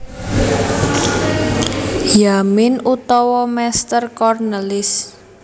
Yamin utawa Meester Cornelis